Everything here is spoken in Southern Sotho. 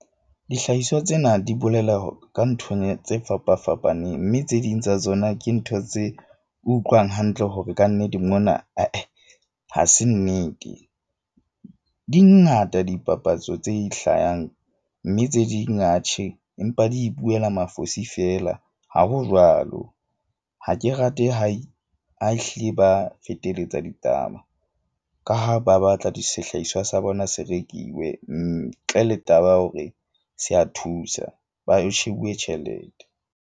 Dihlahiswa tsena di bolela ka nthong tse fapa fapaneng, mme tse ding tsa tsona ke ntho tse utlwang hantle hore kannete mona ha se nnete. Di ngata dipapatso tse ihlayang. Mme tse ding empa di ipuela mafosi feela. Ha ho jwalo. Ha ke rate ha e ha ehlile ba feteletsa ditaba, ka ha ba batla sehlahiswa sa bona se rekiwe. Ntle le taba ya hore se a thusa ho shebuwe tjhelete.